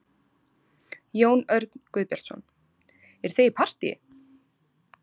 Jón Örn Guðbjartsson: Eruð þið í partýi?